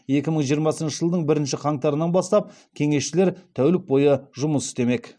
екі мың жиырмасыншы жылдың бірінші қаңтарынан бастап кеңесшілер тәулік бойы жұмыс істемек